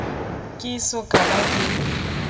ke eso ka ba ke